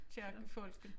Kirkefolken